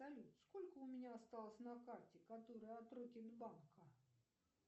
салют сколько у меня осталось на карте которая от рокет банка